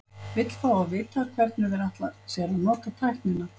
Vill fá að vita, hvernig þeir ætla sér að nota tæknina.